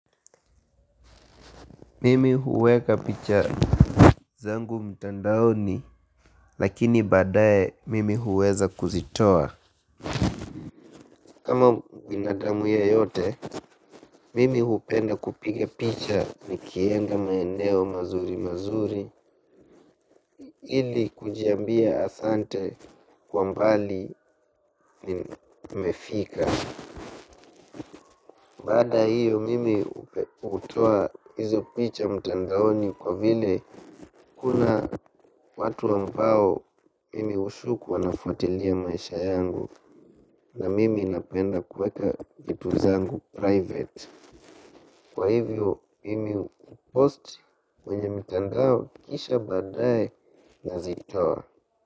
Mimi huweka picha zangu mtandaoni lakini badae mimi huweza kuzitoa. Kama binadamu yeyote mimi hupenda kupige picha nikienda maeneo mazuri mazuri ili kujiambia asante kwa mbali nimefika. Baada ya hiyo mimi hutoa hizo picha mtandaoni kwa vile kuna watu ambao mimi hushuku wanafuatilia maisha yangu na mimi napenda kuweka vitu zangu private. Kwa hivyo mimi hupost kwenye mitandao kisha baadaye nazitoa.